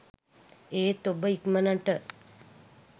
ඒත් ඔබ ඉක්මනට